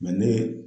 ne